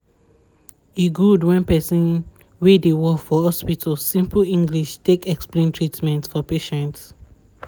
e good wen people wey dey work for hospital simple english take explain treatments for patients